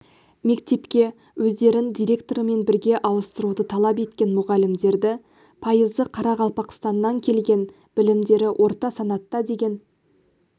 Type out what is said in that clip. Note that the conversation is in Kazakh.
мектепке өздерін директорымен бірге ауыстыруды талап еткен мұғалімдерді пайызы қарақалпақстаннан келген білімдері орта санатта деген